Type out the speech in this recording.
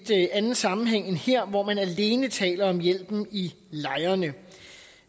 anden sammenhæng end her hvor man alene taler om hjælpen i lejrene